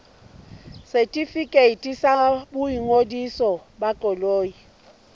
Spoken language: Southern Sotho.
setefikeiti sa boingodiso ba koloi